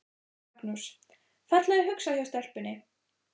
Magnús: Fallega hugsað hjá stelpunni?